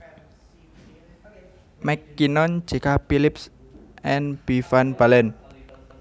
MacKinnon J K Phillipps and B van Balen